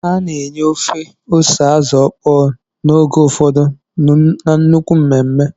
A na-enye ofe ose Azu okpo n'oge ụfọdụ na nnukwu mmemme